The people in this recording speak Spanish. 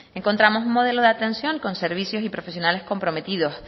encontramos un modelo de atención con servicios y profesionales comprometidos